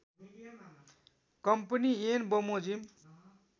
company ऐन बमोजिम